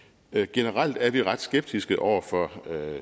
generelt er vi ret skeptiske over for